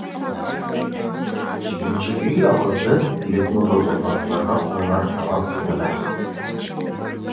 жекеменшік үй алғысы келетін отбасыларға қойылар талап мынадай